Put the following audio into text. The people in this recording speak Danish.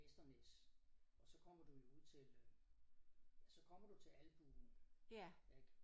Vesternæs og så kommer du jo ud til øh ja så kommer du til albuen ik